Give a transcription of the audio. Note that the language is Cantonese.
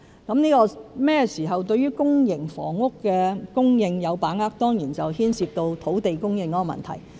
至於甚麼時候對於公營房屋的供應有把握，當然牽涉到土地供應的問題。